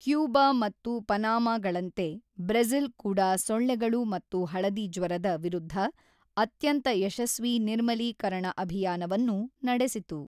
Cuba ಮತ್ತು ಪನಾಮಗಳಂತೆ, Brazil ಕೂಡ ಸೊಳ್ಳೆಗಳು ಮತ್ತು ಹಳದಿ ಜ್ವರದ ವಿರುದ್ಧ ಅತ್ಯಂತ ಯಶಸ್ವಿ ನಿರ್ಮಲೀಕರಣ ಅಭಿಯಾನವನ್ನು ನಡೆಸಿತು.